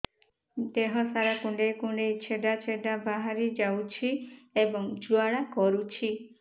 ଦେହ ସାରା କୁଣ୍ଡେଇ କୁଣ୍ଡେଇ ଛେଡ଼ା ଛେଡ଼ା ବାହାରି ଯାଉଛି ଏବଂ ଜ୍ୱାଳା କରୁଛି